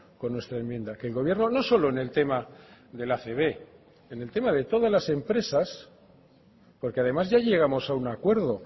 con nuestra enmienda que el gobierno no solo en eltema de la acb sino en el tema de todas las empresas porque además ya llegamos a un acuerdo